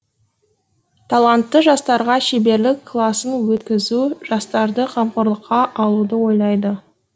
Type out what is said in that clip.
талантты жастарға шеберлік класын өткізу жастарды қамқорлыққа алуды ойлайды